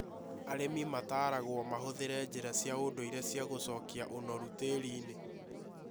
Arĩmi nĩ mataragũo mahũthĩre njĩra cia ũndũire cia gũcokia ũnoru tĩĩri-inĩ.